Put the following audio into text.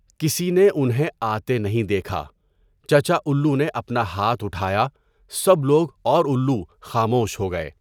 کسی نے انہیں آتے نہیں دیکھا۔ چچا اُلّو نے اپنا ہاتھ اُٹھایا، سب لوگ اور اُلّو خاموش ہو گئے۔